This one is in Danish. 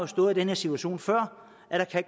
stået den her situation før